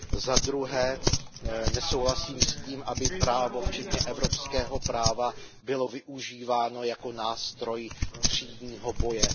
Za druhé, nesouhlasím s tím, aby právo, včetně evropského práva, bylo využíváno jako nástroj třídního boje.